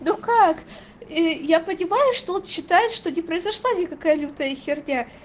ну как ээ я понимаю что он считаешь что не произошла никакая лютая херня